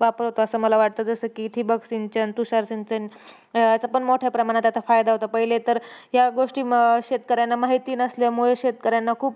वापर होतो असं मला वाटतं. जसं की ठिबक सिंचन, तुषार सिंचन. याचा पण मोठ्या प्रमाणात आता फायदा होतो. पहिले तर या गोष्टी म शेतकऱ्यांना माहिती नसल्यामुळे शेतकऱ्यांना खूप